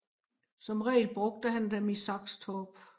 Som regel brugte han dem i Saxtorp